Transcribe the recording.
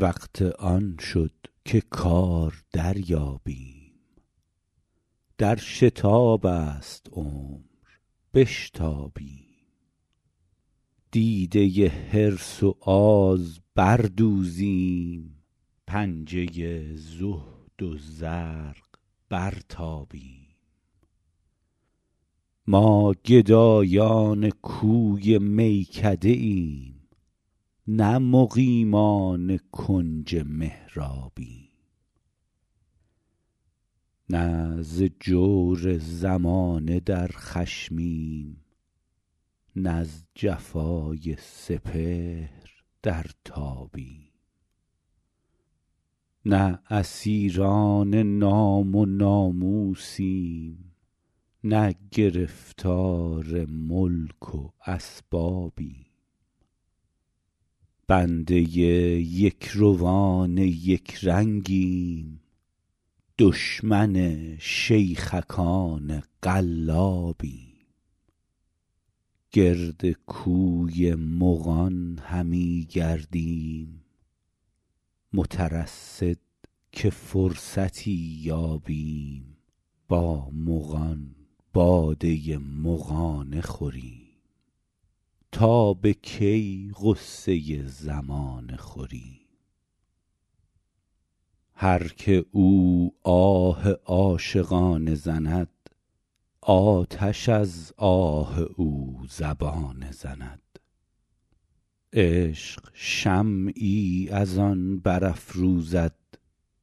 وقت آن شد که کار دریابیم در شتاب است عمر بشتابیم دیده حرص و آز بر دوزیم پنجه زهد و زرق برتابیم ما گدایان کوی میکده ایم نه مقیمان کنج محرابیم نه ز جور زمانه در خشمیم نز جفای سپهر در تابیم نه اسیران نام و ناموسیم نه گرفتار ملک و اسبابیم بنده یکروان یک رنگیم دشمن شیخکان قلابیم گرد کوی مغان همیگردیم مترصد که فرصتی یابیم با مغان باده مغانه خوریم تا به کی غصه زمانه خوریم هر که او آه عاشقانه زند آتش از آه او زبانه زند عشق شمعی از آن برافروزد